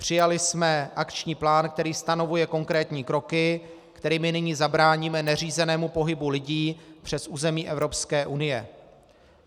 Přijali jsme akční plán, který stanovuje konkrétní kroky, kterými nyní zabráníme neřízenému pohybu lidí přes území Evropské unie.